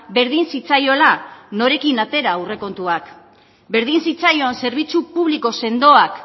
berdin zitzaiola norekin atera aurrekontuak berdin zitzaion zerbitzu publiko sendoak